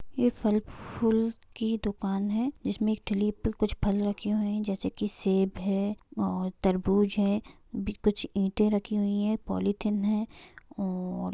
ये फल फूल की दुकान है इसमें एक ठेली पर कुछ फल रखे हुए हैं जैसे कि सेब है और तरबूज है भी कुछ ईंटे रखी हुईं है पॉलिथीन है और --